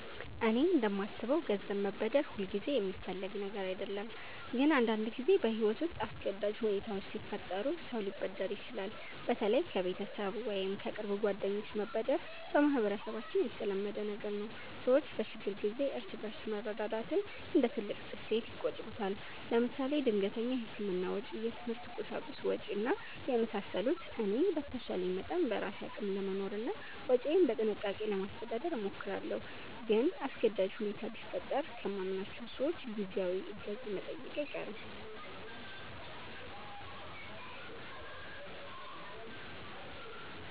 እኔ እንደማስበው ገንዘብ መበደር ሁልጊዜ የሚፈለግ ነገር አይደለም፣ ግን አንዳንድ ጊዜ በሕይወት ውስጥ አስገዳጅ ሁኔታዎች ሲፈጠሩ ሰው ሊበደር ይችላል። በተለይ ከቤተሰብ ወይም ከቅርብ ጓደኞች መበደር በማህበረሰባችን የተለመደ ነገር ነው። ሰዎች በችግር ጊዜ እርስ በርስ መረዳዳትን እንደ ትልቅ እሴት ይቆጥሩታል። ለምሳሌ ድንገተኛ የሕክምና ወጪ፣ የትምህርት ቁሳቁስ ወጭ እና የመሳሰሉት። እኔ በተቻለ መጠን በራሴ አቅም ለመኖርና ወጪዬን በጥንቃቄ ለማስተዳደር እሞክራለሁ። ግን አስገዳጅ ሁኔታ ቢፈጠር ከማምናቸው ሰዎች ጊዜያዊ እገዛ መጠየቄ አይቀርም